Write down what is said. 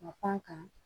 Ma kɔn kan